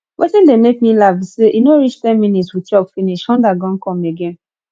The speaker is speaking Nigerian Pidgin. wetin dey make me laugh be say e no reach ten minutes we chop finish hunger gon come again